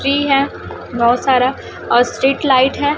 Tree है बहोत सारा और स्ट्रीट लाइट है।